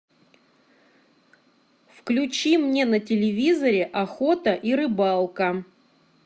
включи мне на телевизоре охота и рыбалка